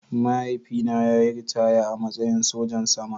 Mahaifina ya yi ritaya a matsayin sajan soja